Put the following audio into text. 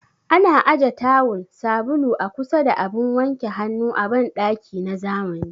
Ana aje taawul, sabulu a kusa da abun wanke hannu a banɗaki na zamani